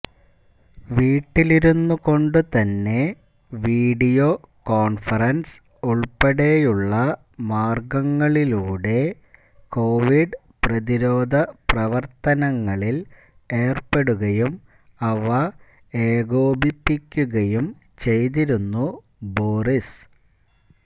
വീട്ടിലിരുന്നുകൊണ്ടുതന്നെ video conference ഉൾപ്പെടെയുള്ള മാർഗങ്ങളിലൂടെ Covid പ്രതിരോധ പ്രവർത്തങ്ങളിൽ ഏർപ്പെടുകയും അവ ഏകോപിപ്പിക്കുകയും ചെയ്തിരുന്നു ബോറിസ്